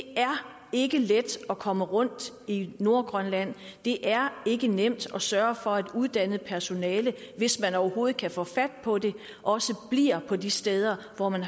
ikke let at komme rundt i nordgrønland det er ikke nemt at sørge for at uddannet personale hvis man overhovedet kan få fat på det også bliver på de steder hvor man